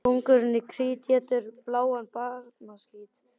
Kóngurinn í Krít étur bláan barnaskít.